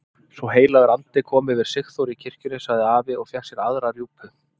Svo heilagur andi kom yfir Sigþóru í kirkjunni! sagði afi og fékk sér aðra rjúpu.